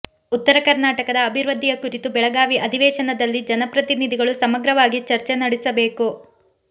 ಉತ್ತರ ಕರ್ನಾಟಕದ ಅಭಿವೃದ್ಧಿಯ ಕುರಿತು ಬೆಳಗಾವಿ ಅಧಿವೇಶನದಲ್ಲಿ ಜನಪ್ರತಿನಿಧಿಗಳು ಸಮಗ್ರವಾಗಿ ಚರ್ಚೆ ನಡೆಸಬೇಕು